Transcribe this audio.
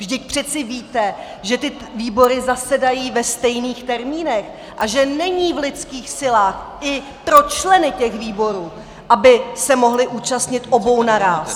Vždyť přece víte, že ty výbory zasedají ve stejných termínech a že není v lidských silách i pro členy těch výborů, aby se mohli účastnit obou naráz.